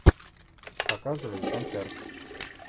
показывай концерт